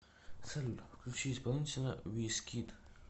салют включи исполнителя визкид